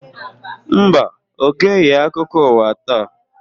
Mba, Ọ geghị akụkọ ụwa taa.